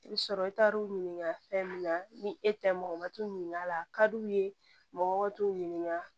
I bɛ sɔrɔ i taar'u ɲininka fɛn min na ni e tɛ mɔgɔ ma t'u ɲininka la a ka d'u ye mɔgɔ t'u ɲininka